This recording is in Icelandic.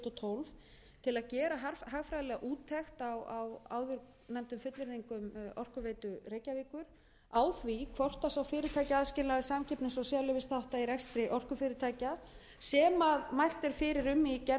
og tíu til að gera hagfræðilega úttekt á áðurnefndum fullyrðingum orkuveitu reykjavíkur á því hvort sá fyrirtækjaaðskilnaður samkeppnis og sérleyfisþátta í rekstri orkufyrirtækja sem mælt er fyrir um í gerðum evrópusambandsins á sviði